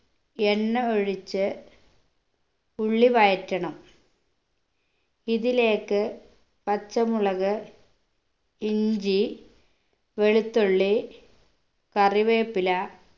എണ്ണ ഒഴിച്ച് ഉള്ളി വഴറ്റണം ഇതിലേക്ക് പച്ചമുളക് ഇഞ്ചി വെളുത്തുള്ളി കറിവേപ്പില